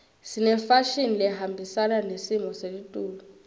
sinefashini lehambisana nesimo selitulu